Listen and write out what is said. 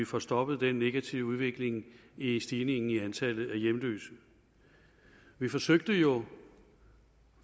få stoppet den negative udvikling i stigningen af antallet af hjemløse vi forsøgte jo